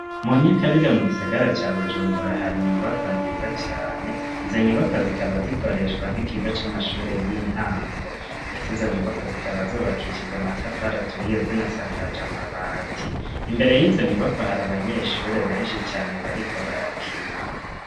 Mu nyakabiga mu gisagara ca bujumbura, hari inyubako nziza cane, izo nyubako zikaba zikoreshwa n'ikigo c'amashuri y'intango ndetse izo nyubako zikaba zubakishije amatafari aturiye zinasakaja amabati, imbere y'izo nyubako hari abanyeshure benshi cane bariko barakina.